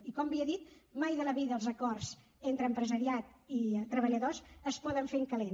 i com havia dit mai de la vida els acords entre empresariat i treballadors es poden fer en calent